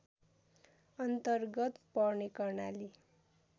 अन्तरगत पर्ने कर्णाली